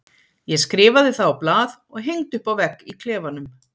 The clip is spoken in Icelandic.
Ég skrifaði það á blað og hengdi upp á vegg í klefanum.